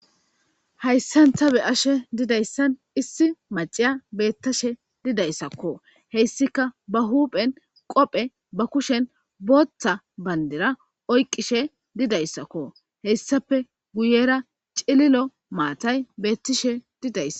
hayssanta be ashe didayssan issi maciya beettashe didayssakko heyssika ba huuphen qophe ba kushen booththa bandera oyqqishe didayssakko hessafe guyera cililo maatay beettishe didaysa